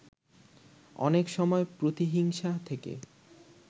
অনেক সময় প্রতিহিংসা থেকে